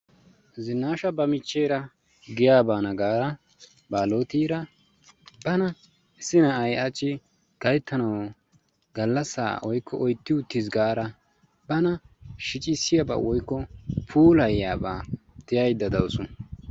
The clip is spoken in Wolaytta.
zinaasha ba micheera giyaa baana gaada baalottira bana issi na'ay hachchi galasaa woykko oytti uttis gaada bana shiccissiyabaa woykko puulayiyaaba tiyaydda dawusu.